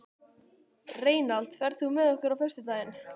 Reynald, ferð þú með okkur á föstudaginn?